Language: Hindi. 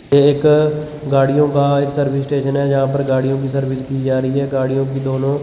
ये एक गाड़ियों का एक सर्विस स्टेशन है जहां पर गाड़ियों की सर्विस की जा रही है गाड़ियों की दोनों।